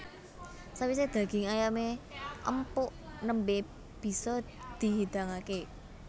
Sawisé daging ayamé empuk nembé bisa dihidangaké